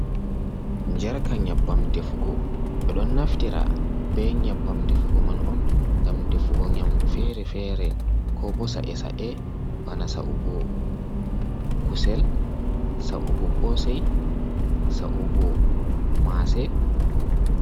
Jarka nyabbam defugo. be ɗon naftira be nyabbam defugo man on ngam defugo nyamɗu fere-fere, ko bo sa’e-sa’e bana sa'ugo kusel, sa'ugo kosei, sa'ugo mase.